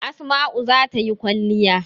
Asma'u za ta yi kwalliya.